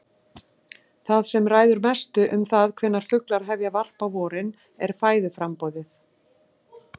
Það sem ræður mestu um það hvenær fuglar hefja varp á vorin er fæðuframboðið.